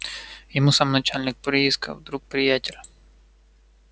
ему сам начальник приисков друг приятель